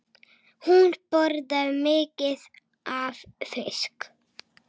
Hún borðar mikið af fiski.